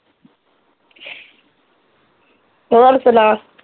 ਹੋਰ ਸੁਣਾ